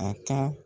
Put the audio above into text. A ka